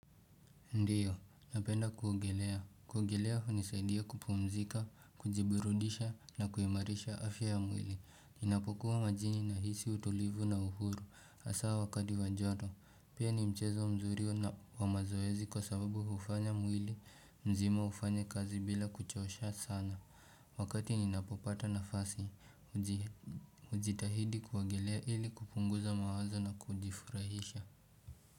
Ndiyo, napenda kuogelea. Kuogelea hunisaidia kupumzika, kujiburudisha na kuimarisha afya ya mwili. Ninapokuwa majini nahisi utulivu na uhuru. Hasa wakati wa joto. Pia ni mchezo mzuri wa mazoezi kwa sababu hufanya mwili mzima ufanye kazi bila kuchosha sana. Wakati ninapopata nafasi, hujitahidi kuogelea ili kupunguza mawazo na kujifurahisha.